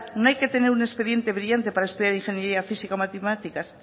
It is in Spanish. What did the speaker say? no hay que tener un expediente brillante para estudiar ingeniería física o matemáticas